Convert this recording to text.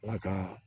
Ala ka